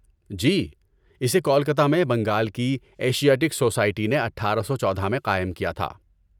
جی، اسے کولکتہ میں بنگال کی ایشیاٹک سوسائٹی نے اٹھارہ سو چودہ میں قائم کیا تھا